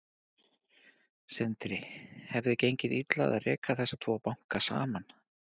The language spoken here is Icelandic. Sindri: Hefði gengið illa að reka þessa tvo banka saman?